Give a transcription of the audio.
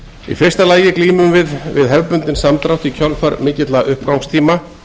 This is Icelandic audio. í fyrsta lagi glímum við við hefðbundinn samdrátt í kjölfar mikilla uppgangstíma